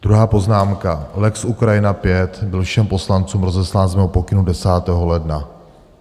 Druhá poznámka: lex Ukrajina IV byl všem poslancům rozeslán z mého pokynu 10. ledna.